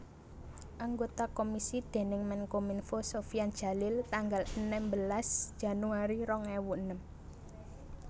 Anggota komisi déning Menkominfo Sofyan Djalil tanggal enem belas Januari rong ewu enem